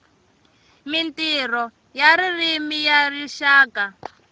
mintirho ya ririmi ya rixaka